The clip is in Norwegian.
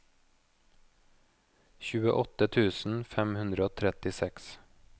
tjueåtte tusen fem hundre og trettiseks